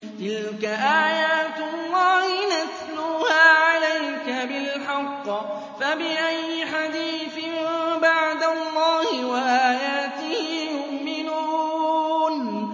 تِلْكَ آيَاتُ اللَّهِ نَتْلُوهَا عَلَيْكَ بِالْحَقِّ ۖ فَبِأَيِّ حَدِيثٍ بَعْدَ اللَّهِ وَآيَاتِهِ يُؤْمِنُونَ